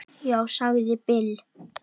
Já, sagði Bill.